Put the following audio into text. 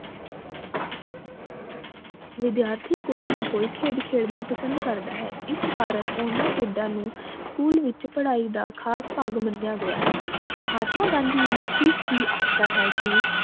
ਵਿਦਿਆਰਥੀ ਕੋਈ ਨਾ ਕੋਈ ਖੇਡ ਖੇਡਣਾ ਪਸੰਦ ਕਰਦਾ ਹੈ ਇਸ ਕਾਰਨ ਓਹਨਾ ਖੇਡਾਂ ਨੂੰ ਸਕੂਲ ਵਿਚ ਪੜ੍ਹਾਈ ਦਾ ਖਾਸ ਭਾਗ ਮਨਯਾ ਗਯਾ ਹੈ ਮਹਾਤਮਾ ਗਾਂਧੀ ਨੇ ਵੀ ਠੀਕ ਹੀ ਆਖਿਆ ਹੈ ਕਿ